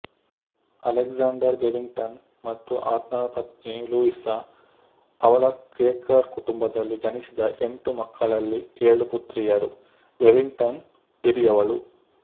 Alexander Bevington ಮತ್ತು ಆತನ ಪತ್ನಿ ಲೂಯಿಸಾ ಅವಳ ಕ್ವೇಕರ್ ಕುಟುಂಬದಲ್ಲಿ ಜನಿಸಿದ ಎಂಟು ಮಕ್ಕಳಲ್ಲಿಏಳು ಪುತ್ರಿಯರು ಬೆವಿಂಗ್ಟನ್ ಹಿರಿಯವಳು